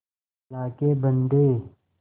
अल्लाह के बन्दे